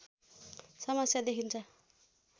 समस्या देखिन्छ